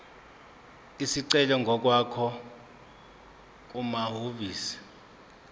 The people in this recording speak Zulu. isicelo ngokwakho kumahhovisi